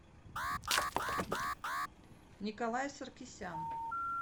николай саркисян